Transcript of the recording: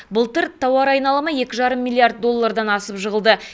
былтыр тауар айналымы екі жарым миллиард доллардан асып жығылды